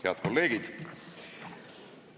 Head kolleegid!